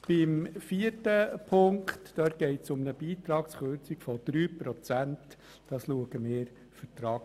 Zu Ziffer 4: Hier geht es um eine Beitragskürzung von 3 Prozent.